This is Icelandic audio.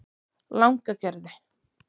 Langagerði